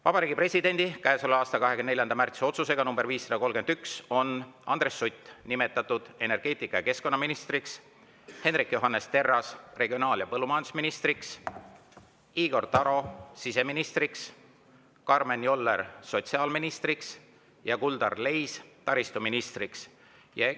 Vabariigi Presidendi käesoleva aasta 24. märtsi otsusega nr 531 on Andres Sutt nimetatud energeetika- ja keskkonnaministriks, Hendrik Johannes Terras regionaal- ja põllumajandusministriks, Igor Taro siseministriks, Karmen Joller sotsiaalministriks ning Kuldar Leis taristuministriks.